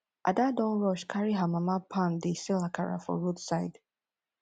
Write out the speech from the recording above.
ada don rush carry her mama pan dey sell akara for roadside